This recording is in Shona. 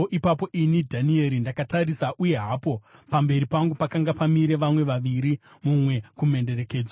Ipapo ini, Dhanieri, ndakatarisa uye hapo pamberi pangu pakanga pamire vamwe vaviri, mumwe kumhenderekedzo.